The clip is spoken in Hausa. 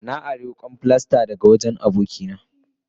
Na ari wukan filasta daga wajen abokina.